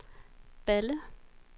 Balle